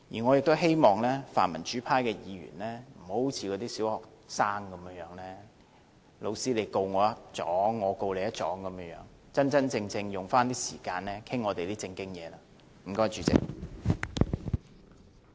我希望泛民主派議員，不要好像小學生般："老師，他告我一狀，我告他一狀"，要真真正正把時間用在討論我們的正經事情上。